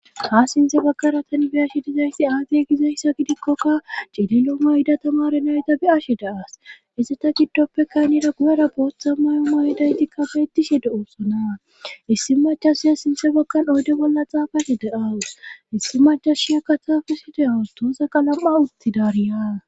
ha sinthe baggara tani bi ashe dizayssi aadiye gizayssa gidikkokka cililoma yida tamare nayta bi ashe daas isse ta giddoppekaynira guyera booththa mayoma idaytikkafe etishe de oosona issi machashiya sinthe bagkan oyde bolla xaafate de7as issi machashiyakka taafusi de7awu toosaka lam7a uttidariya